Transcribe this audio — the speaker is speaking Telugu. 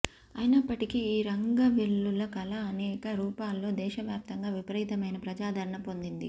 అయినప్పటికీ ఈ రంగవల్లుల కళ అనేక రూపాల్లో దేశవ్యాప్తంగా విపరీతమైన ప్రజాదరణ పొందింది